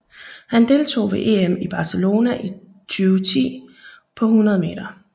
Han deltog ved EM i Barcelona 2010 på 100 meter